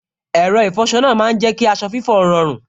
Ẹ̀rọ ìfọsọ náà má n jẹ́ kí aṣọ fífọ́ rọrùn